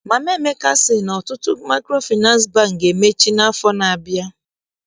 Mama Emeka sị na ọtụtụ Maịkrofịnansị Bankị ga-emechi n'afọ na-abịa.